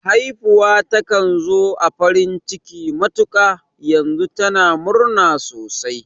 Haifuwa takan zo da farin ciki matuƙa, yanzu tana murna sosai